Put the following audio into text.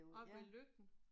Oppe ved Løkken